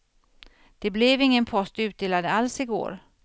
Det blev ingen post utdelad alls igår.